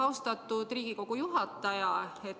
Austatud Riigikogu juhataja!